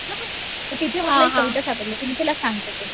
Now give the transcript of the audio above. नं तर तिथे मला एक कविता सापडले तर मी तुला सांगते.